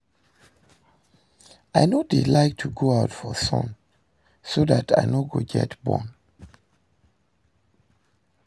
I no dey like to go out for sun so dat I no go get burn